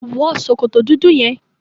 Wọ sòkòtò dúdú yẹn!